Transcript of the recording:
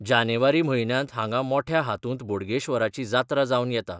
जानेवारी म्हयन्यांत हांगा मोठ्या हातूंत बोडगेश्वराची जात्रा जावन येता.